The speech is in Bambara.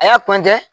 A y'a